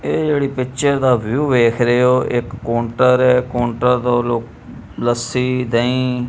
ਏਹ ਜੇਹੜੀ ਪਿਕਚਰ ਦਾ ਵਿਊ ਦੇਖ ਰਹੇ ਹੋ ਇੱਕ ਕੋਂਟਰ ਹੈ ਕੋਂਟਰ ਲੱਸੀ ਦਹੀਂ--